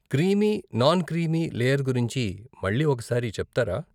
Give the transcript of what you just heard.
Creamy, non creamy layer గురించి మళ్ళీ ఒక సారి చెప్తారా?